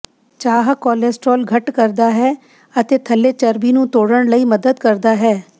ਚਾਹ ਕੋਲੇਸਟ੍ਰੋਲ ਘੱਟ ਕਰਦਾ ਹੈ ਅਤੇ ਥੱਲੇ ਚਰਬੀ ਨੂੰ ਤੋੜਨ ਲਈ ਮਦਦ ਕਰਦਾ ਹੈ